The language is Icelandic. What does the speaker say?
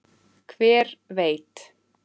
Hver veit?